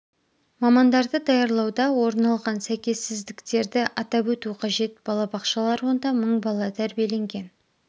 мамандарды даярлауда орын алған сәйкессіздіктерді атап өту қажет балабақшалар онда мың бала тәрбиеленген